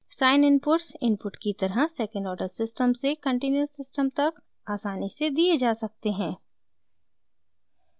sine inputs input की तरह second order system से कंटीन्युअस सिस्टम तक आसानी से दिए जा सकते हैं